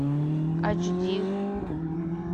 айч ди